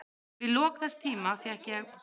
Við lok þess tíma fékk ég